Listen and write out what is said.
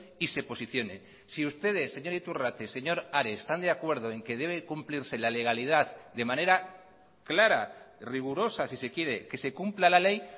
y se posicione si ustedes señor iturrate señor ares están de acuerdo en que debe cumplirse la legalidad de manera clara rigurosa si se quiere que se cumpla la ley